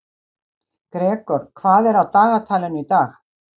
Gregor, hvað er á dagatalinu í dag?